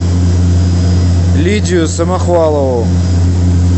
лидию самохвалову